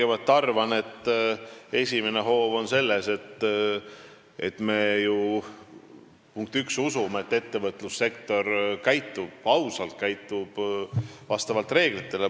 Ma arvan, et esimene hoob on see, et me usume, punkt üks, et ettevõtlussektor käitub ausalt ja vastavalt reeglitele.